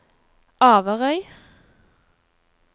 Averøy